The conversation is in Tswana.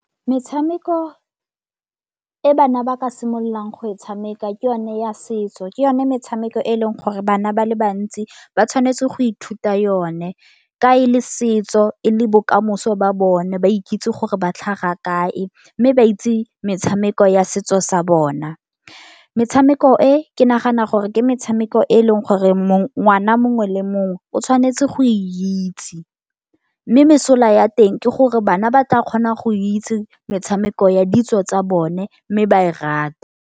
Metshameko e bana ba ka simololang go e tshameka ke yone ya setso, ke yone metshameko e leng gore bana ba le bantsi ba tshwanetse go ithuta yone. Ka e le setso e le bokamoso ba bone ba ikitse gore ba tlhaga kae. Mme ba itse metshameko ya setso sa bona. Metshameko e, ke nagana gore ke metshameko e leng gore ngwana mongwe le mongwe o tshwanetse go itse, mme mesola ya teng ke gore bana ba tla kgona go itse metshameko ya ditso tsa bona mme ba e rata.